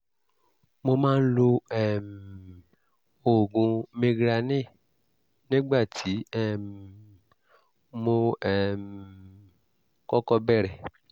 mo máa ń lo um oògùn migranil nígbà tí um mo um kọ́kọ́ bẹ̀rẹ̀